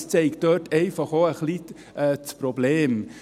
– Es zeigt das Problem.